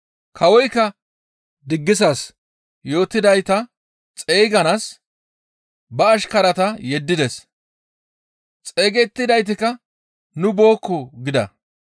Kawoykka diggisas yootidayta xeyganaas ba ashkarata yeddides; xeygettidaytikka, ‹Nu bookko› gida.